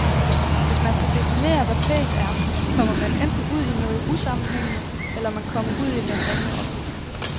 Hvis man skal definere, hvad pænt er, kommer man enten ud i noget usammenhængende, eller man kommer ud i den rene opløsning.